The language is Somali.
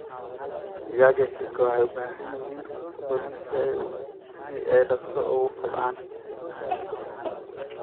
Digaagga hilibka waxay u baahan yihiin cunto badan si ay dhaqso ugu kobcaan.